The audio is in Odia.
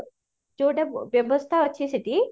ଯୋଉଟା ବ୍ୟବସ୍ତା ଅଛି ସେଠି